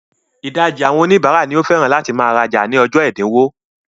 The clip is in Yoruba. Ìdajì àwọn oníbàárà ni ó máa ń fẹ́ràn láti máa rajà ní ọjọ́ ẹ̀dínwó.